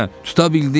tuta bildin?